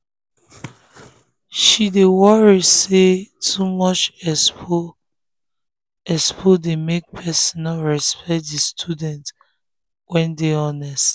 she dey worry say too much expo expo dey make people no respect the students wey dey honest.